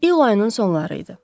İyul ayının sonları idi.